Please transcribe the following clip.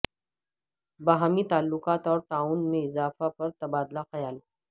باہمی تعلقات اور تعاون میں اضافہ پر تبادلہ خیال